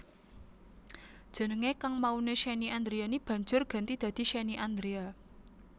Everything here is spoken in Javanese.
Jenengé kang mauné Shenny Andriani banjur ganti dadi Shenny Andrea